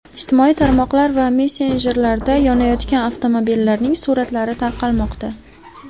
Ijtimoiy tarmoqlar va messenjerlarda yonayotgan avtomobillarning suratlari tarqalmoqda .